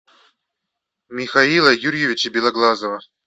михаила юрьевича белоглазова